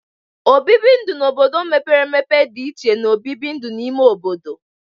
Obibi ndu n'obodo mepere empe dị iche na obibi ndu n'ime ime obodo.